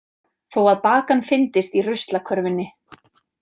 Þó að bakan fyndist í ruslakörfunni.